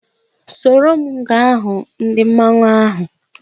Soro m ga hụ ndị mmanwu ahu!